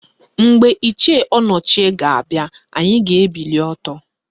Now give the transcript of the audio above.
Mgbe Ichie Ọnọchie ga-abịa, anyị ga-ebili ọtọ